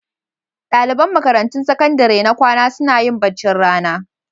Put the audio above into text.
Ɗaliban makarantun sakandare na kwana suna yin baccin rana.